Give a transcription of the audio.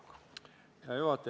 Hea juhataja!